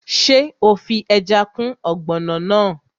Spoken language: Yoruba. Ṣé o fi ẹja kún ọ̀gbọ̀nọ̀ náà?